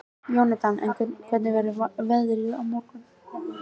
Jónatan, hvernig er veðrið á morgun?